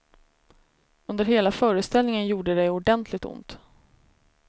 Under hela föreställningen gjorde det ordentligt ont.